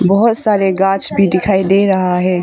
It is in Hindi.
बहुत सारे गाछ भी दिखाई दे रहा है।